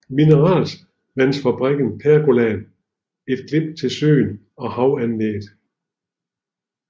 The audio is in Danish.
Mineralvandsfabrikken pergolaen et glimt til søen og haveanlægget